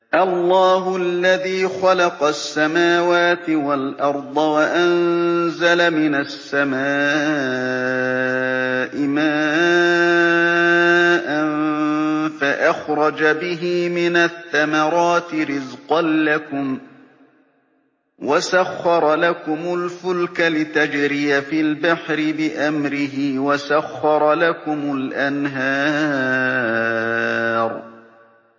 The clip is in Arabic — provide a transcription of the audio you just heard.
اللَّهُ الَّذِي خَلَقَ السَّمَاوَاتِ وَالْأَرْضَ وَأَنزَلَ مِنَ السَّمَاءِ مَاءً فَأَخْرَجَ بِهِ مِنَ الثَّمَرَاتِ رِزْقًا لَّكُمْ ۖ وَسَخَّرَ لَكُمُ الْفُلْكَ لِتَجْرِيَ فِي الْبَحْرِ بِأَمْرِهِ ۖ وَسَخَّرَ لَكُمُ الْأَنْهَارَ